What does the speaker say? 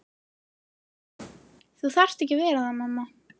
Þú þarft ekki að vera það mamma.